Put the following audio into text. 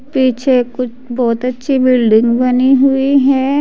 पीछे कुछ बहोत अच्छी बिल्डिंग बनी हुई है।